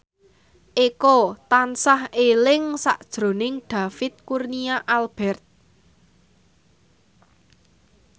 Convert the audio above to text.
Eko tansah eling sakjroning David Kurnia Albert